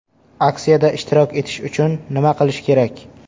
Aksiyada ishtirok etish uchun nima qilish kerak?